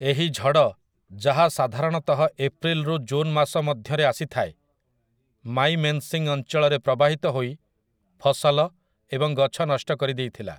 ଏହି ଝଡ଼, ଯାହା ସାଧାରଣତଃ ଏପ୍ରିଲ ରୁ ଜୁନ୍ ମାସ ମଧ୍ୟରେ ଆସିଥାଏ, ମାଇମେନସିଂ ଅଞ୍ଚଳରେ ପ୍ରବାହିତ ହୋଇ ଫସଲ ଏବଂ ଗଛ ନଷ୍ଟ କରିଦେଇଥିଲା ।